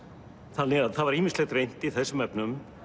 þannig að það var ýmislegt reynt í þessum efnum